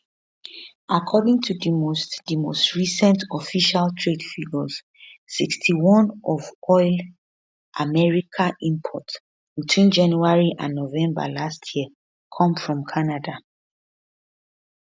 according to di most di most recent official trade figures 61 of oil america import between january and november last year come from canada